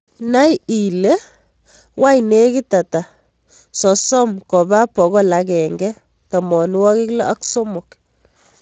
Nai ile wany negit ata sosom ko ba bokol agenge tamanwagik loo ak somok